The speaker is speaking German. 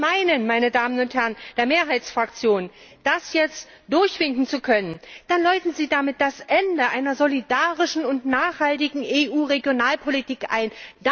Und wenn Sie meinen, meine Damen und Herren der Mehrheitsfraktionen, das jetzt durchwinken zu können, dann läuten Sie damit das Ende einer solidarischen und nachhaltigen EU Regionalpolitik ein.